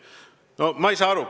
No ma ei saa aru.